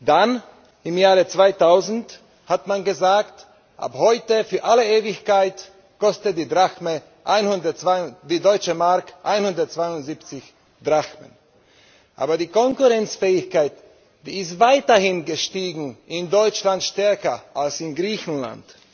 Dann, im Jahre 2000, hat man gesagt Ab heute für alle Ewigkeit kostet die Deutsche Mark 172 Drachmen. Aber die Konkurrenzfähigkeit ist weiterhin gestiegen, in Deutschland stärker als in Griechenland.